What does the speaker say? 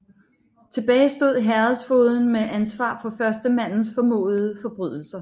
Tilbage stod herredsfogeden med ansvar for førstemandens formodede forbrydelser